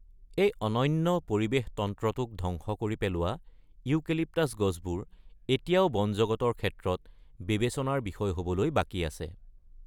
এই অনন্য পৰিৱেশতন্ত্ৰটোক ধ্বংস কৰি পেলোৱা ইউকেলিপ্টাছ গছবোৰ এতিয়াও বনজগতৰ ক্ষেত্ৰত বিবেচনাৰ বিষয় হবলৈ বাকী আছে।